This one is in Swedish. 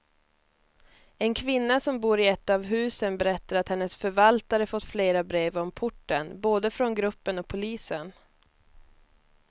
En kvinna som bor i ett av husen berättar att hennes förvaltare fått flera brev om porten, både från gruppen och polisen.